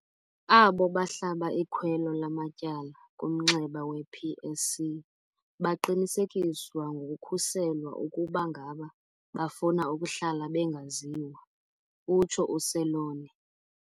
Abo bahlaba ikhwelo lamatyala kumnxeba we-PSC baqinisekiswa ngokukhuselwa ukuba ngaba bafuna ukuhlala bengaziwa, utsho uSeloane.